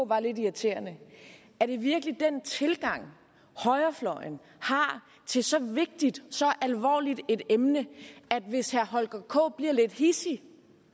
var lidt irriterende er det virkelig den tilgang højrefløjen har til så vigtigt så alvorligt et emne det at hvis herre holger k nielsen bliver lidt hidsig